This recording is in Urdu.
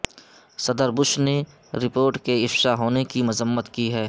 صدر بش نے رپورٹ کے افشا ہونے کی مذمت کی ہے